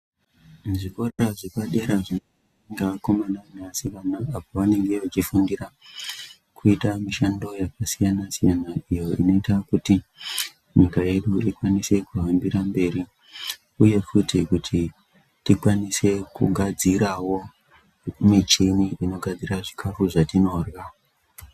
Muzvikora zvepadera zvinoendwa ngevakomana nevasikana apo vanenge vechifundira kuita mishando yakasiyana siyana. Iyo inoita kuti nyika yedu tikwanise kuhambira mberi. Uye futi kuti tikwanise kugadzira wo michini inogadzira zvikafu zvatinodyra